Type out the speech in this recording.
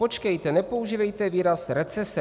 Počkejte, nepoužívejte výraz recese.